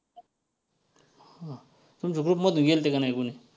हां तुमच्या group मधले गेलते का नाही कोणी?